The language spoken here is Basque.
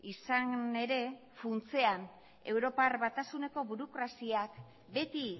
izan ere funtsean europar batasuneko burokraziak beti